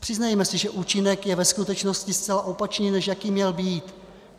Přiznejme si, že účinek je ve skutečnosti zcela opačný, než jaký měl být.